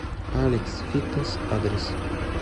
алекс фитнес адрес